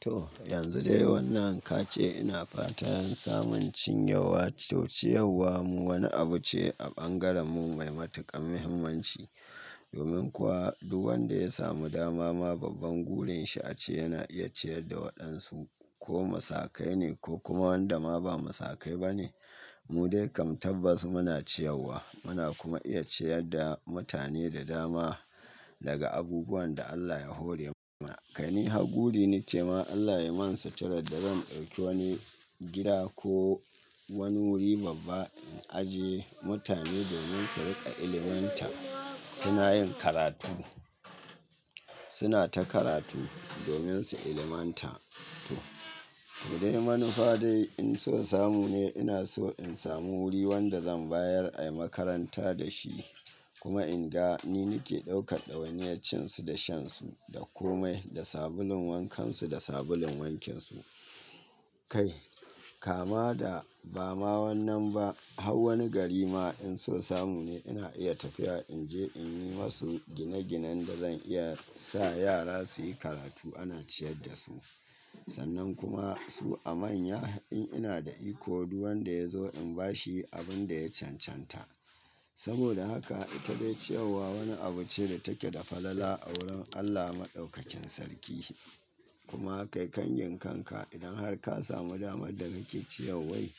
To, yanzu dai wannan ka ce ina fata in samun cin yewa. To ciyarwa mu wani abu ce a ɓangaren mu mai matukar muhimmanci. Domin kuwa duk wanda ya samu dama ma babban gurin shi ace yana iya ciyar da waɗansu ko masaƙai ne ko kuma wanda ma ba masaƙai ba ne. Mu dai kam tabbas muna ciyarwa, muna kuma iya ciyar da mutane da dama daga abubuwan da Allah ya hore mana. Kai ni ha guri nake ma Allah yayi man suturar da zan ɗauki wani gida ko wani wuri babba in ajiye mutane domin su riƙa ilmantar. Suna yin karatu, suna ta karatu domin su il manta. To, dai manufa dai in so samu ne ina so in samu wuri wanda zan bayar ayi makaranta da shi. Kuma in ga ni nake ɗaukar ɗawainiyar cin su da shan su da komai da sabulun wankan su da sabulun wankin su. Kai kama da ba ma wannan ba har wani gari ma in so samu ne ina iya tafiya in je in yi ma su gine-ginen da zan iya sa yara su yi karatu ana ciyar da su. Sannan kuma su amanya in ina da iko duk wanda ya zo in bashi abin da ya cancanta. Saboda haka ita dai ciyarwa wani abu ce da take da falala a wurin Allah Maɗaukakin Sarki. Kuma kai kan gin kan ka idan har ka samu damar da nake ciya wai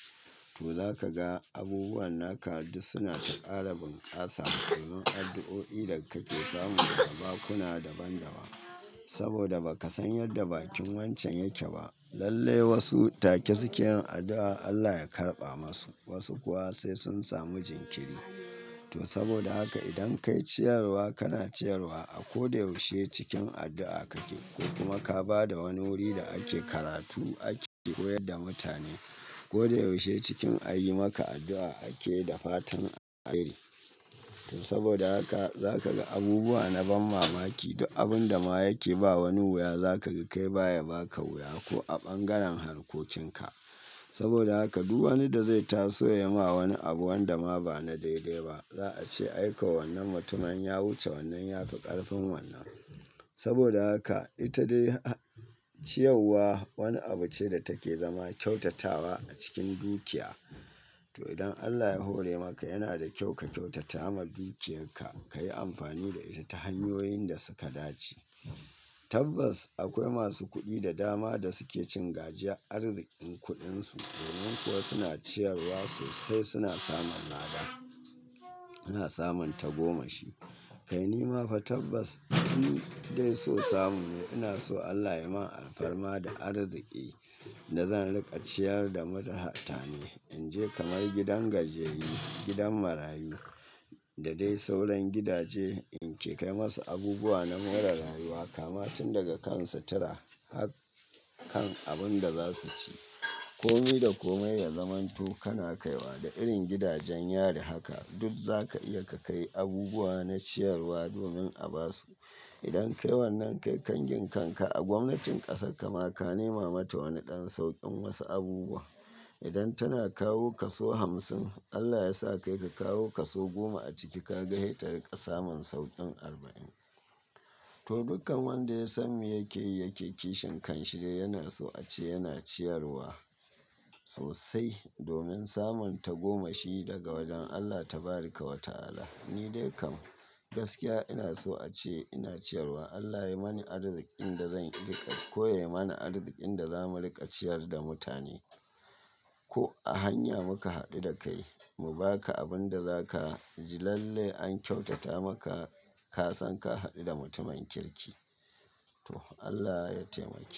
to za ka ga abubuwan naka duk suna ta ƙara bunƙasa. Domin addu'o'i da kake samu daga bakuna daban daban. Saboda ba ka san yadda bakin wancan yake ba. Lalle wasu take suke yin addu'a Allah ya karɓa masu wasu kuwa sai sun samu jinkiri. To saboda haka idan kai ciyarwa kana ciyarwa a ko da yaushe cikin addu'a kake. Ko kuma ka ba da wani wuri da ake karatu ake koyar da mutane. Ko da yaushe cikin a yi maka addu'a ake da fatan a kari. To saboda haka za ka ga abubuwa na ban mamaki duk abun da ma yake ba wani wuya za ka ga kai baya baka wuya ko a bangaren harkokin ka. Saboda haka duk wani da zai taso ya ma wani abu wanda ma ba na daide ba za a ce aiko wannan mutumin ya wuce wannan ya fi ƙarfin wannan. Saboda haka ita dai ciyawwa wani abu ce da take zama kyautatawa a cikin dukiya. To idan Allah ya hore maka yana da kyau ka kyautata ma dukiyakka, ka yi amfani da ita ta hanyoyin da suka dace. Tabbas akwai masu kuɗi da dama da suke cin gajiya arzikin kuɗin su. Domin kuwa suna ciyarwa sosai suna samun lada, suna samun tagomashi. Kai ni ma fa tabbas in dai so samu ne ina so Allah ya yi min alfarma da arziƙi da zan riƙa ciyar da mutane. In je kamar gidan gajiyayyu, gidan marayu, da dai sauran gidaje in ke kai masu abubuwa na more rayuwa kama tun daga kan sutura har kan abun da za su ci. Komi da komai ya zamanto kana kaiwa da irin gidajen. Yari haka duk za ka iya ka kai abubuwa na ciyarwa domin a ba su. Idan kai wannan kai kan gin kan ka a gwamnatin ƙasar kama ka nema mata wani ɗan sauƙin wasu abubuwan. Idan tana kawo ka so hamsin Allah yasa kai ka kawo ka so goma a ciki ka ga hetari ka samun sauƙin arba'in. To dukkan wanda ya sanmi yakeyi yake kishin kanshi dai yana so ace yana ciyarwa sosai. Domin samun tagomashi daga wajen Allah Taɓaraka Wa Ta'ala. Ni dai kam gaskiya ina so ace ina ciyarwa. Allah ya mani arziƙin da zan riƙa ko yai mana arziƙin da za mu riƙa ciyar da mutane. Ko a hanya muka haɗu da kai mu baka abun da zaka ji lalle an kyautata maka. Ka san ka haɗu da mutumin kirki. To Allah ya taimake.